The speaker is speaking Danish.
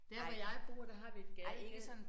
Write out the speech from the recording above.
Der hvor jeg bor der har vi et gadekær